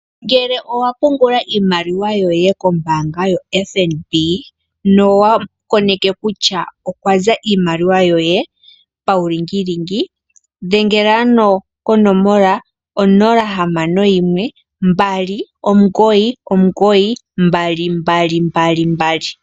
Ngele owa pungula iimaliwa yoye kombanga yotango yopashigwana nowa koneke kutya okwaza iimaliwa yoye pawu lingilingi, dhengela ano konomola onola hamano yimwe, mbali omugoyi, omugoyi, mbali, mbali, mbali, mbali.